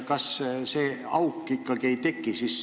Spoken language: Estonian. Kas see auk ikkagi ei teki?